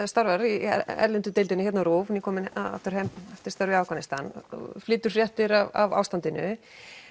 starfar í erlendu deildinni hérna á RÚV nýkominn aftur heim eftir störf í afghanistan og flytur fréttir af ástandinu